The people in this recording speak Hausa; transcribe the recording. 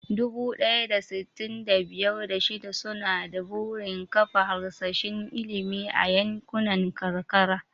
Dubu ɗaya da sittin da biyar, da shida suna da burin kafa harsashin ilimi a yankunan karkara.